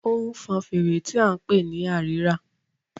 ó ń fọn fèrè tí a ń pè ní Àrírà